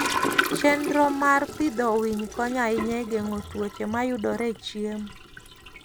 Chenro maber mar pidho winy konyo ahinya e geng'o tuoche mayudore e chiemo.